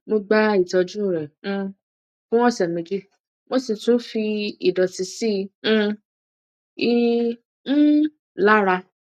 mo gba ìtọjú rẹ um fún ọsẹ méjì mo sì tún fi ìdọtí sí um i um lára